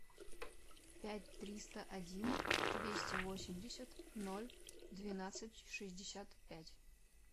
пять триста один двести восемьдесят ноль двенадцать шестьдесят пять